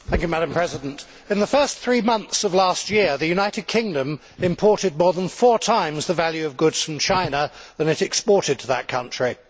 Madam President, in the first three months of last year, the United Kingdom imported more than four times the value of goods from China than it exported to that country.